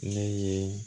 Ne ye